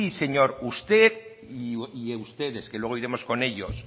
señor usted y ustedes que luego iremos con ellos